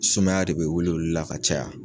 Sumaya de bɛ wele olu la ka caya.